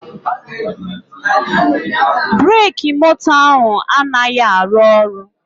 Breki moto ahụ anaghị arụ ọrụ